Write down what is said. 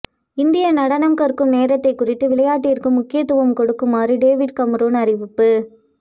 இந்திய நடனம் கற்கும் நேரத்தை குறைத்து விளையாட்டிற்கு முக்கியத்துவம் கொடுக்குமாறு டேவிட் கமரூன் அறிவிப்பு